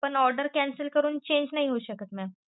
पण order cancel करून change नाही होऊ शकत mam.